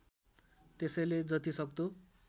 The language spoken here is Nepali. त्यसैले जति सक्दो